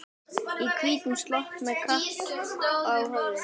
Í hvítum slopp og með kappa á höfðinu.